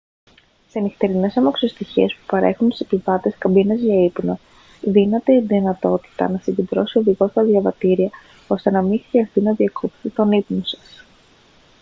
σε νυχτερινές αμαξοστοιχίες που παρέχουν στους επιβάτες καμπίνες για ύπνο δίνεται η δυνατότητα να συγκεντρώσει ο οδηγός τα διαβατήρια ώστε να μην χρειαστεί να διακόψετε τον ύπνο σας